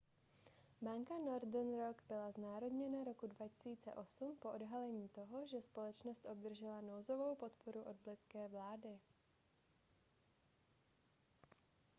banka northern rock byla znárodněna roku 2008 po odhalení toho že společnost obdržela nouzovou podporu od britské vlády